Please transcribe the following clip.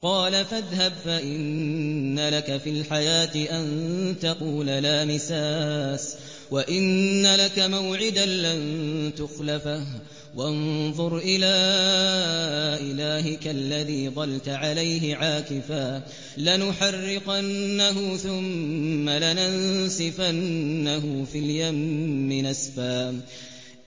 قَالَ فَاذْهَبْ فَإِنَّ لَكَ فِي الْحَيَاةِ أَن تَقُولَ لَا مِسَاسَ ۖ وَإِنَّ لَكَ مَوْعِدًا لَّن تُخْلَفَهُ ۖ وَانظُرْ إِلَىٰ إِلَٰهِكَ الَّذِي ظَلْتَ عَلَيْهِ عَاكِفًا ۖ لَّنُحَرِّقَنَّهُ ثُمَّ لَنَنسِفَنَّهُ فِي الْيَمِّ نَسْفًا